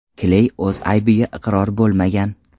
Kley o‘z aybiga iqror bo‘lmagan.